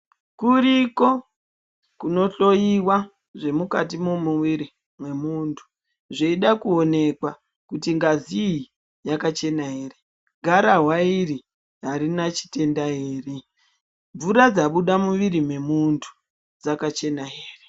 Kuriko kunohloiwa zvemukati memwiri mwemuntu zveida kuoneka kuti ngazi iyi yakachena here, garahwa iri arina chitenda here, mvura dzabuda mumwiri mwemuntu dzakachena here.